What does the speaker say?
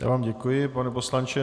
Já vám děkuji, pane poslanče.